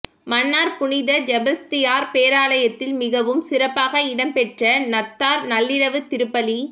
மன்னார் புனித செபஸ்தியார் பேராலயத்தில் மிகவும் சிறப்பாக இடம் பெற்ற நத்தார் நள்ளிரவு திருப்பலி